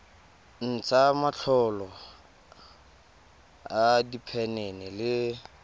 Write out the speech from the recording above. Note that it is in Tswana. ntsha matlolo a diphenene le